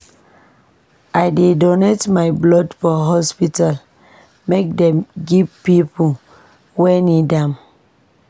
I dey donate my blood for hospital make dem give pipo wey need am.